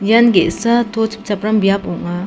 ian ge·sa to chipchapram biap ong·a.